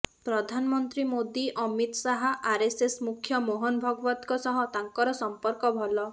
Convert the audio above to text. ପ୍ରଧାନମନ୍ତ୍ରୀ ମୋଦି ଅମିତ ଶାହ ଆରଏସଏସ ମୁଖ୍ୟ ମୋହନ ଭାଗବତଙ୍କ ସହ ତାଙ୍କର ସମ୍ପର୍କ ଭଲ